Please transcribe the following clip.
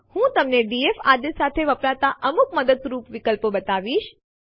RM આદેશ સામાન્ય રીતે ડિરેક્ટરીઓ રદ કરવા માટે ઉપયોગમાં નથી આવતું જે માટે આપણી પાસે રામદીર આદેશ છે